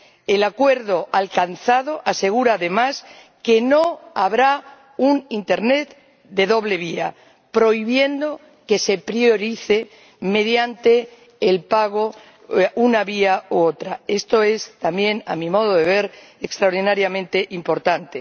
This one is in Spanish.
El acuerdo alcanzado asegura además que no habrá un internet de doble vía, prohibiendo que se priorice mediante el pago una vía u otra. Esto es, también, a mi modo de ver, extraordinariamente importante.